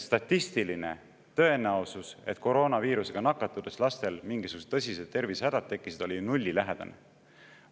Statistiline tõenäosus, et koroonaviirusega nakatudes lastel mingisugused tõsised tervisehädad tekkisid, oli ju nullilähedane.